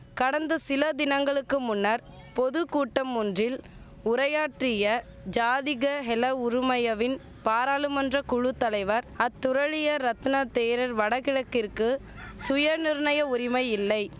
கடந்த சில தினங்களுக்கு முன்னர் பொது கூட்டமொன்றில் உரையாற்றிய ஜாதிக ஹெல உறுமயவின் பாராளுமன்ற குழு தலைவர் அத்துரலிய ரத்னதேரர் வடகிழக்கிற்கு சுயநிர்ணய உரிமையில்லை